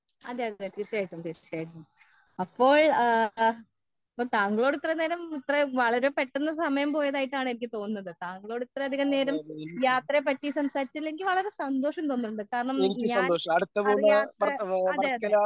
അതേ അതേ തീർച്ചയായിട്ടും തീർച്ചയായിട്ടും അപ്പോൾ താങ്കളോട് ഇത്രയും നേരം വളരെ പെട്ടന്ന് സമയം പോയതായിട്ടാണ് എനിക്ക് തോന്നുന്നത്‌ട്ടാ നിങ്ങളോട് ഇത്രയും അതികം നേരം യാത്രയെ പറ്റി സംസാരിച്ചതിൽ എനിക്ക് വളരെ അതികം സന്ദോഷം തോന്നുന്നുണ്ട് കാരണം ഞാൻ അറിയാത്ത അതേ അതേ